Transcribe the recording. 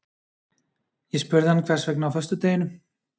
Ég spurði hann hvers vegna á föstudeginum?